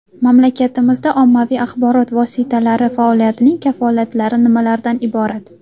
Mamlakatimizda ommaviy axborot vositalari faoliyatining kafolatlari nimalardan iborat?